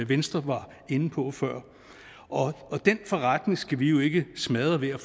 venstre var inde på før og den forretning skal vi jo ikke smadre ved